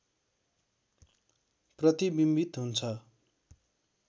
प्रतिबिम्बित हुन्छ